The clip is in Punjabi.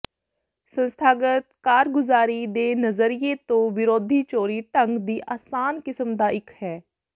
ਸੰਸਥਾਗਤ ਕਾਰਗੁਜ਼ਾਰੀ ਦੇ ਨਜ਼ਰੀਏ ਤੋ ਵਿਰੋਧੀ ਚੋਰੀ ਢੰਗ ਦੀ ਆਸਾਨ ਕਿਸਮ ਦਾ ਇੱਕ ਹੈ